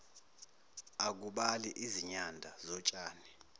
akubali izinyanda zotshani